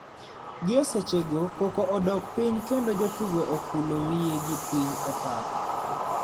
Gi e seche go koko odok piny kendo jotugo okulo wiye gi piny e pap .